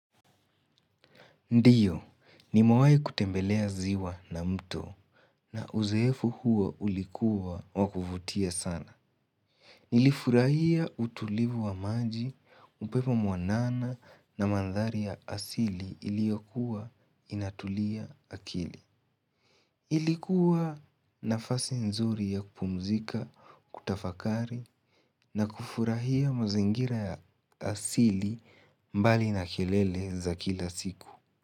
Ndiyo, nimewahi kutembelea ziwa na mto na uzoefu huo ulikuwa wa kuvutia sana. Nilifurahia utulivu wa maji, upepo mwanana na mandhari ya asili iliyokuwa inatulia akili. Ilikuwa nafasi nzuri ya kupumzika, kutafakari na kufurahia mazingira ya asili mbali na kelele za kila siku.